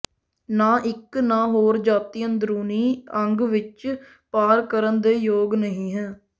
ਨਾ ਇੱਕ ਨਾ ਹੋਰ ਜਾਤੀ ਅੰਦਰੂਨੀ ਅੰਗ ਵਿੱਚ ਪਾਰ ਕਰਨ ਦੇ ਯੋਗ ਨਹੀ ਹੈ